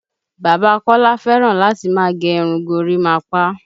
Bàbá Kọ́lá fẹ́ràn láti máa gẹ irun gorímapá